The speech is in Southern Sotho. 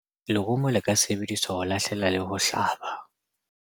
lerumo le ka sebedisetswa ho lahlela le ho hlaba